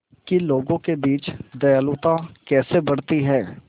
कि लोगों के बीच दयालुता कैसे बढ़ती है